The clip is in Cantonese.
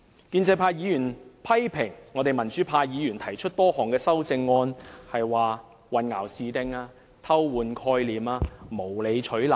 建制派議員批評我們民主派議員提出多項修正案是混淆視聽、偷換概念及無理取鬧。